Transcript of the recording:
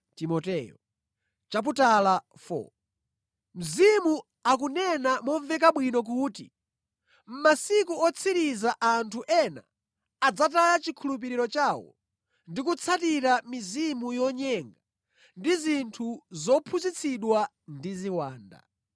Mzimu akunena momveka bwino kuti mʼmasiku otsiriza anthu ena adzataya chikhulupiriro chawo ndi kutsatira mizimu yonyenga ndi zinthu zophunzitsidwa ndi ziwanda.